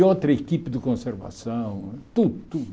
E outra equipe de conservação, tudo, tudo.